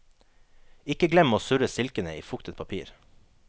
Ikke glem å surre stilkene i fuktet papir.